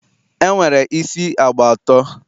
e nwere isi agba atọ.